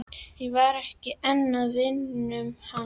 Ég var ekki einn af vinum hans.